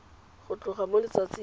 go tloga mo letsatsing le